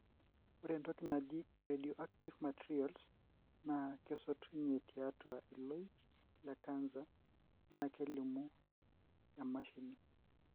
ore entoki naaji radioactive materials na kesotunye tiatua ilooik le cancer na kelimu emashini.